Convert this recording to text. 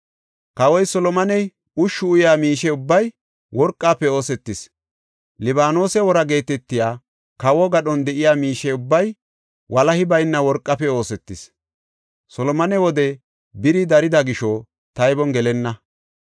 Kawoy Solomoney ushshu uyaa miishe ubbay worqafe oosetis; “Libaanose Woraa” geetetiya kawo gadhon de7iya miishe ubbay walahi bayna worqafe oosetis. Solomone wode biri darida gisho taybon gelenna.